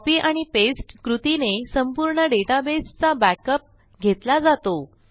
copy आणि paste कृतीने संपूर्ण डेटाबेसचा बॅकअप घेतला जातो